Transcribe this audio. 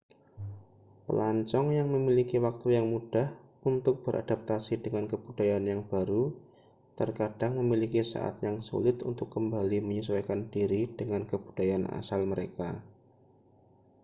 pelancong yang memiliki waktu yang mudah untuk beradaptasi dengan kebudayaan yang baru terkadang memiliki saat yang sulit untuk kembali menyesuaikan diri dengan kebudayaan asal mereka